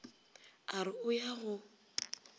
a re o ya go